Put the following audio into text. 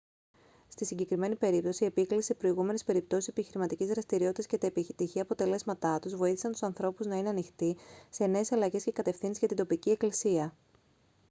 στη συγκεκριμένη περίπτωση η επίκληση σε προηγούμενες περιπτώσεις επιχειρηματικής δραστηριότητας και τα επιτυχή αποτελέσματά τους βοήθησαν τους ανθρώπους να είναι ανοιχτοί σε νέες αλλαγές και κατευθύνσεις για την τοπική εκκλησία